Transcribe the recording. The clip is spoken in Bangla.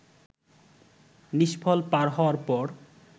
নিষ্ফল পার হওয়ার পর